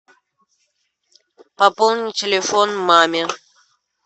пополни телефон маме